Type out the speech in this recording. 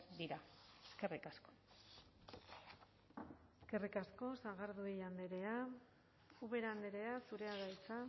dira eskerrik asko eskerrik asko sagardui andrea ubera andrea zurea da hitza